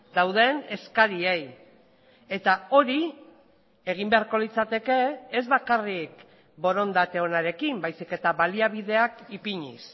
dauden eskariei eta hori egin beharko litzateke ez bakarrik borondate onarekin baizik eta baliabideak ipiniz